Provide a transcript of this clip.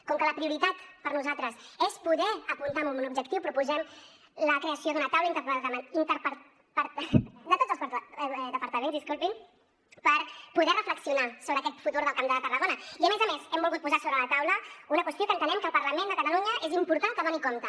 com que la prioritat per nosaltres és poder apuntar a un objectiu proposem la creació d’una taula de tots els departaments per poder reflexionar sobre aquest futur del camp de tarragona i a més a més hem volgut posar sobre la taula una qüestió que entenem que el parlament de catalunya és important que doni compte